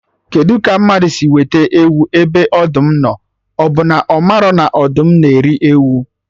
Kedụ ka mmadụ si wete ewu ebe ọdụm nọ, ọbụ na ọ marọ na ọdụm na eri ewu?